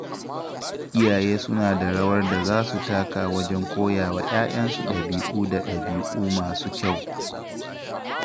Iyaye suna da rawar da za su taka wajen koya wa ‘ya’yansu ɗabi’u da ɗabi’u masu kyau.